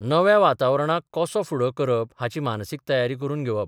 नव्या वातावरणाक कसो फुडो करप हाची मानसीक तयारी करून घेवप.